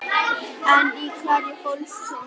En í hverju fólst hún?